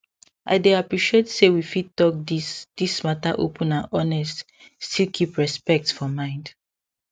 i dey appreciate say we fit talk this this matter open and honest still keep respect for mind